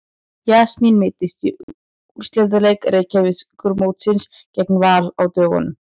Jasmín meiddist í úrslitaleik Reykjavíkurmótsins gegn Val á dögunum.